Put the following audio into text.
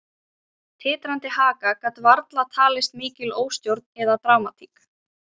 Titrandi haka gat varla talist mikil óstjórn eða dramatík.